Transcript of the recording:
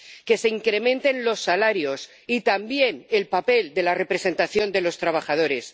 que se incrementen los salarios y se refuerce también el papel de la representación de los trabajadores